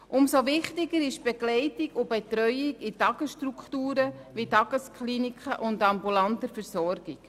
Umso wichtiger ist die Begleitung und Betreuung in Tagesstrukturen wie Tageskliniken und ambulanter Versorgung.